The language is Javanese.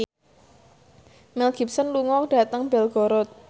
Mel Gibson lunga dhateng Belgorod